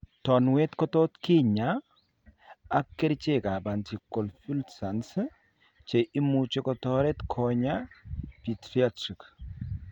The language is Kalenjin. Tanuet ko tot kinya ak kerichekab anti convulsants, che muche kotaret konya psychiatric